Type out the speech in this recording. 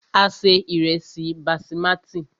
A se ìrẹ́sí basimati.